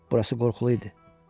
Burası qorxulu idi.